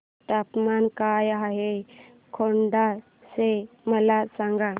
तापमान काय आहे खेड चे मला सांगा